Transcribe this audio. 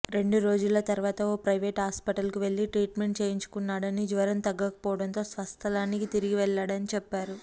రెండు రోజుల తర్వాత ఓ ప్రైవేట్ హాస్పిటల్కు వెళ్లి ట్రీట్మెంట్ చేయించుకున్నాడని జ్వరం తగ్గకపోవడంతో స్వస్థలానికి తిరిగి వెళ్లాడని చెప్పారు